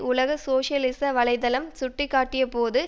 உலக சோசியலிச வலை தளம் சுட்டிக்காட்டியபோது